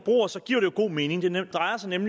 man